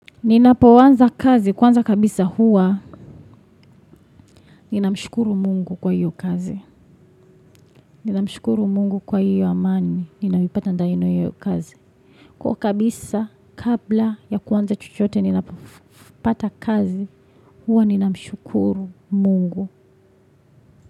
Ninapoanza kazi, kwanza kabisa huwa ninamshukuru mungu kwa hiyo kazi. Ninamshukuru mungu kwa hiyo amani, ninayoipata ndani ya hiyo kazi. Kwa kabisa, kabla ya kuanza chochote, ninapopata kazi, huwa ninamshukuru mungu.